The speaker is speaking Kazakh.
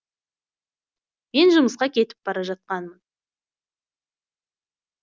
мен жұмысқа кетіп бара жатқанмын